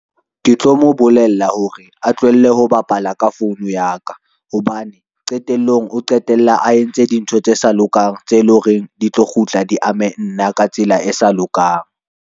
Ke tlo mo bolella hore a tlohelle ho bapala ka founu ya ka, hobane qetellong o qetelle a entse dintho tse sa lokang, tse leng hore di tlo kgutla di ame nna ka tsela e sa lokang.